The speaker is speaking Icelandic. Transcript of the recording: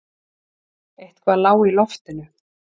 Eitthvað lá í loftinu.